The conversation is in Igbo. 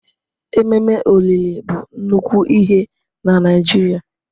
Ememe olili bụ nnukwu ihe na Naịjirịa.